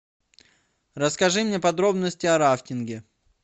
расскажи мне подробности о рафтинге